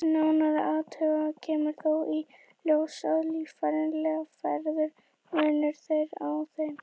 Við nánari athugun kemur þó í ljós að líffærafræðilegur munur er á þeim.